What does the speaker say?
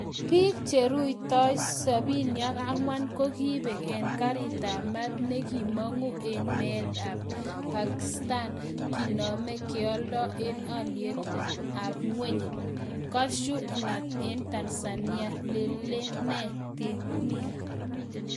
Biik cherutoi 74 kogibek en garit ab maat nekimong'u en maat en Pakistan , kinome keoldoo en alyetab ng'weny Cashew nut enTanzania, lelenee temiik?